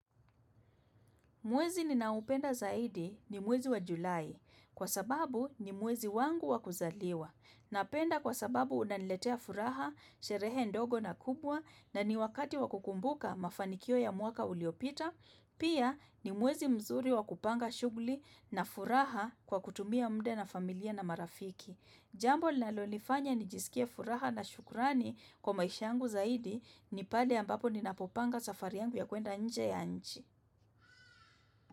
Mwezi ninaupenda zaidi ni mwezi wa Julai kwa sababu ni mwezi wangu wa kuzaliwa. Napenda kwa sababu unaniletea furaha, sherehe ndogo na kubwa na ni wakati wakukumbuka mafanikio ya mwaka uliopita. Pia ni mwezi mzuri wakupanga shughuli na furaha kwa kutumia muda na familia na marafiki. Jambo linalolifanya nijisikie furaha na shukrani kwa maisha yangu zaidi ni pale ambapo ninapopanga safari yangu ya kuenda nje ya nchi.